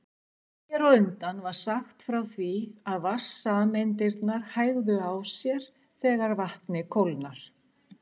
Hér á undan var sagt frá því að vatnssameindirnar hægðu á sér þegar vatnið kólnar.